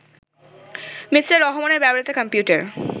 Me. রহমানের ব্যবহৃত computer